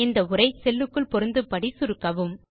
இந்த உரை செல்லுக்குள் பொருந்தும்படி சுருக்கவும்